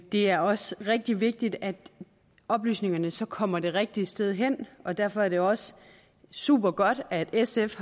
det er også rigtig vigtigt at oplysningerne så kommer det rigtige sted hen og derfor er det også supergodt at sf